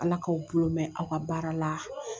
Ala k'aw bolo mɛn aw ka baaraw la